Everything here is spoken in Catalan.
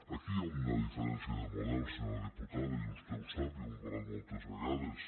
aquí hi ha una diferència de model senyora diputada i vostè ho sap i ho hem parlat moltes vegades